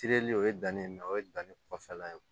Tereli o ye danni na o ye danni kɔfɛ